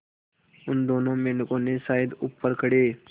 उन दोनों मेढकों ने शायद ऊपर खड़े